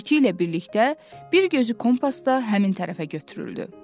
İti ilə birlikdə bir gözü kompasda həmin tərəfə götürüldü.